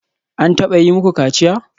An taba yi muku kaciya?